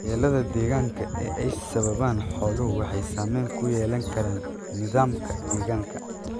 Waxyeellada deegaanka ee ay sababaan xooluhu waxay saamayn ku yeelan karaan nidaamka deegaanka.